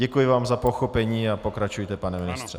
Děkuji vám za pochopení a pokračujte, pane ministře.